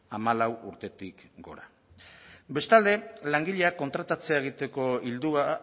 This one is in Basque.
hamalau urtetik gora bestalde langileak kontratatzea egiteko ildoa